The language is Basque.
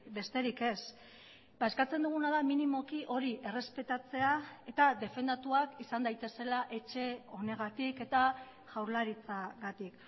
besterik ez eskatzen duguna da minimoki hori errespetatzea eta defendatuak izan daitezela etxe honegatik eta jaurlaritzagatik